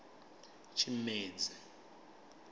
tshimedzi